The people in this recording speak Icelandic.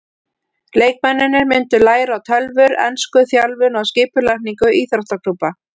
Leikmennirnir myndu læra á tölvur, ensku, þjálfun og skipulagningu íþróttaklúbba.